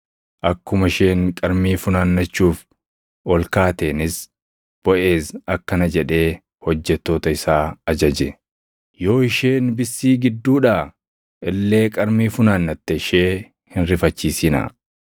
Akkuma isheen qarmii funaannachuuf ol kaateenis Boʼeez akkana jedhee hojjettoota isaa ajaje; “Yoo isheen bissii gidduudhaa illee qarmii funaannatte ishee hin rifachiisinaa.